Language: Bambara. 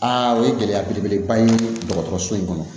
Aa o ye gɛlɛya belebeleba ye dɔgɔtɔrɔso in kɔnɔ